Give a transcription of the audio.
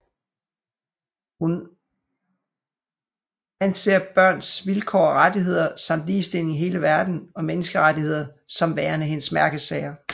Hun aser børns vilkår og rettigheder samt ligestilling i hele verden og menneskerettigheder som værende hendes mærkesager